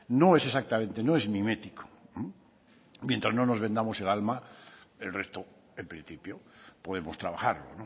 no es exactamente no es mimético mientras no nos vendamos el alma el resto en principio podemos trabajarlo